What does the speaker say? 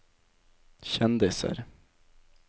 kjendiser